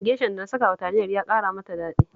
Geshan da na sakawa Taliyar ya ƙara mata daɗi